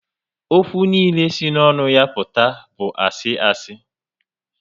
Ókwú niile si n'onu ya aputa bu asi asi